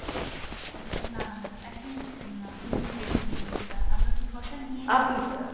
উম না না madam একদমই এরকম না আপনি ভুল বুঝছেন জিনিসটা, আমরা precaution নিয়ে